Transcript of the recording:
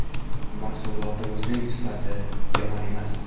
Mahsulotimizning sifati yomon emas.